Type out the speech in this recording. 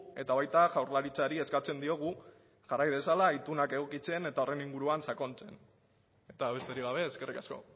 eta baita jaurlaritzari eskatzen diogu jarrai dezala itunak edukitzen eta horren inguruan sakontzen eta besterik gabe eskerrik asko